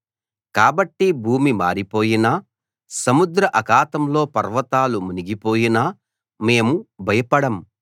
కాబట్టి భూమి మారిపోయినా సముద్ర అఖాతంలో పర్వతాలు మునిగిపోయినా మేము భయపడం